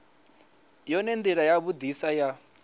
yone ndila ya vhudisa ya